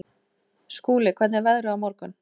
Skúli, hvernig er veðrið á morgun?